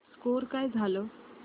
score काय झाला